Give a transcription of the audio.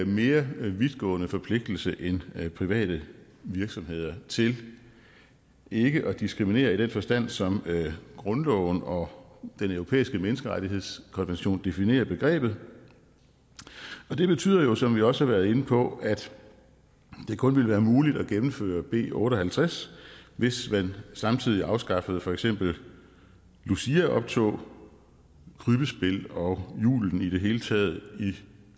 mere vidtgående forpligtelse end private virksomheder til ikke at diskriminere i den forstand som grundloven og den europæiske menneskerettighedskonvention definerer begrebet og det betyder jo som vi også har været inde på at det kun ville være muligt at gennemføre b otte og halvtreds hvis man samtidig afskaffede for eksempel luciaoptog krybbespil og julen i det hele taget i